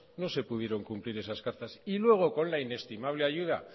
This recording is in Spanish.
no se pudieron cumplir esas cartas y luego con la inestimable ayuda